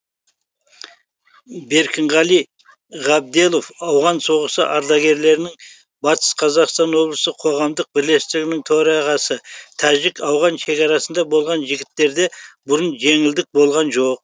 беркінғали ғабделов ауған соғысы ардагерлерінің батыс қазақстан облысы қоғамдық бірлестігінің төрағасы тәжік ауған шекарасында болған жігіттерде бұрын жеңілдік болған жоқ